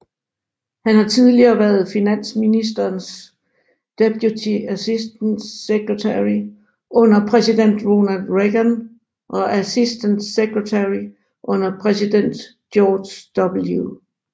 Han har tidligere været finansministerens Deputy Assistant Secretary under præsident Ronald Reagan og Assistant Secretary under præsident George W